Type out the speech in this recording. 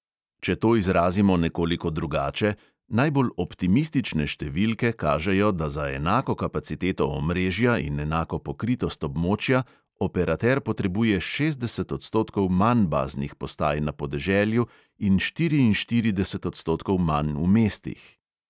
Če to izrazimo nekoliko drugače, najbolj optimistične številke kažejo, da za enako kapaciteto omrežja in enako pokritost območja operater potrebuje šestdeset odstotkov manj baznih postaj na podeželju in štiriinštirideset odstotkov manj v mestih.